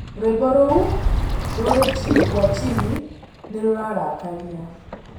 rwĩmbo ruũ rũrĩ chini kwa chini ni rurarakaria